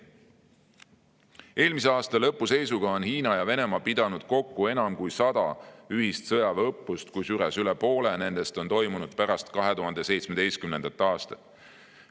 Eelmise aasta lõpu seisuga on Hiina ja Venemaa pidanud kokku enam kui sada ühist sõjaväeõppust, kusjuures üle poole nendest on toimunud pärast 2017. aastat.